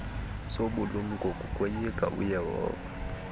sobulumko kukoyika uyehova